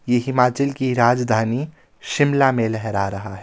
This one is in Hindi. ये हिमाचल की राजधानी शिमला में लहरा रहा है।